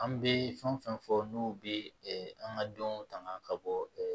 An bɛ fɛn o fɛn fɔ n'u bɛ an ka dɔn tangan ka bɔ